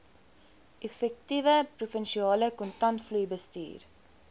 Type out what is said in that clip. effektiewe provinsiale kontantvloeibestuur